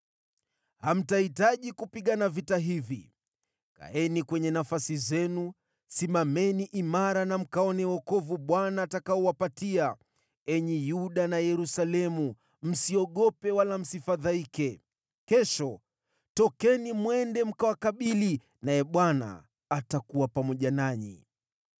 Hamtahitaji kupigana vita hivi. Kaeni kwenye nafasi zenu, simameni imara na mkaone wokovu Bwana atakaowapatia, enyi Yuda na Yerusalemu. Msiogope, wala msifadhaike. Kesho tokeni mwende mkawakabili, naye Bwana atakuwa pamoja nanyi.’ ”